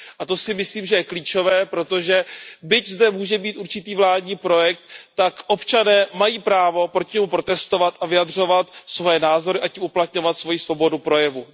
A to si myslím, že je klíčové, protože byť zde může být určitý vládní projekt, tak občané mají právo proti němu protestovat a vyjadřovat svoje názory a tím uplatňovat svojí svobodu projevu.